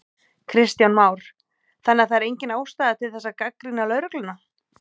Kristján Már: Þannig að það er engin ástæða til þess að gagnrýna lögregluna?